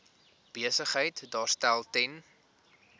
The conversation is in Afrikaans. besigheid daarstel ten